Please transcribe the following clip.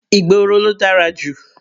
Ìgboro ló dára jù.